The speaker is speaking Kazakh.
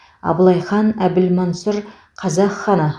абылай хан әбілмансұр қазақ ханы